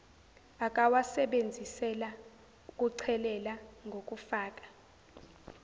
akawasebenzisela ukuchelelela ngokufaka